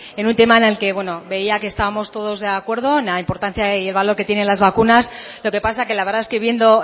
en un tema en el que bueno veía que estábamos todos de acuerdo en la importancia y el valor que tiene las vacunas lo que pasa que la verdad es que viendo